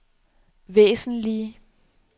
væsentlige